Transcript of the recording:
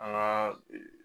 An ka ee